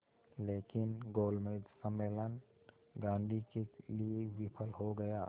लेकिन गोलमेज सम्मेलन गांधी के लिए विफल हो गया